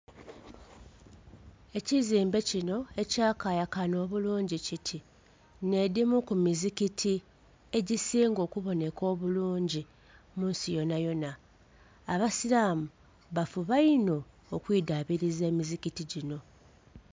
Ekizimbe kino ekyakayakana obulungi kiti, nh'edhimu ku mizikiti egisinga okuboneka obulungi munsi yonayona. Abasiramu bafuba inho okwidhabiliza emizikiti gino.